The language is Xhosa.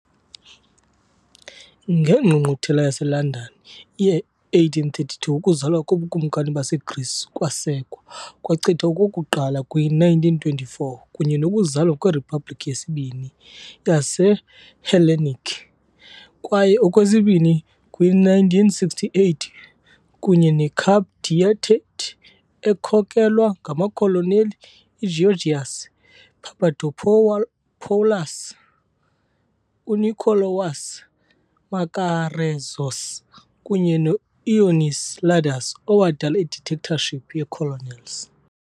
NgeNgqungquthela yaseLondon ye-1832 ukuzalwa koBukumkani baseGrisi kwasekwa, kwachithwa okokuqala kwi-1924 kunye nokuzalwa kweRiphabhliki yesiBini yaseHellenic, kwaye okwesibini kwi-1968 kunye ne-coup d'état ekhokelwa ngamakholoneli uGeōrgios Papadopoulos, U-Nikolaos Makarezos kunye no-Ioannis Ladas, owadala i -Dictatorship ye-Colonels.